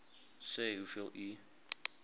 sê hoeveel u